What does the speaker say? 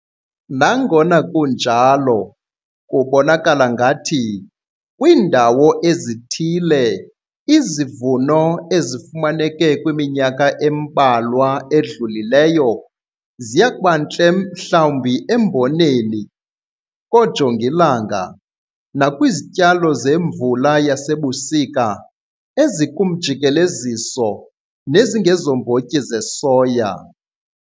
Nangona kunjalo, kubonakala ngathi kwiindawo ezithile izivuno ezifumaneke kwiminyaka embalwa edlulileyo ziya kuba ntle mhlawumbi emboneni, koojongilanga nakwizityalo zefula yasebusika ezikumjikeleziso nezingezombotyi zesoya.